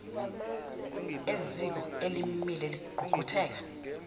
eziko elimile lengqungquthela